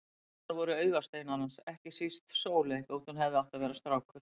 Dæturnar voru augasteinar hans, ekki síst Sóley þótt hún hefði átt að vera strákur.